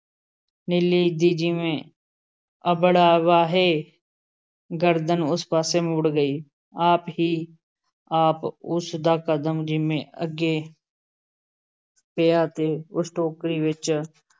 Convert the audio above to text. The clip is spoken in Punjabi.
ਨੀਲੀ ਦੀ ਜਿਵੇਂ ਅਬੜਵਾਹੇ ਗਰਦਨ ਉਸ ਪਾਸੇ ਮੁੜ ਗਈ । ਆਪ ਹੀ ਆਪ ਉਸ ਦਾ ਕਦਮ ਜਿਵੇਂ ਅੱਗੇ ਪਿਆ ਤੇ ਉਸ ਟੋਕਰੀ ਵਿੱਚ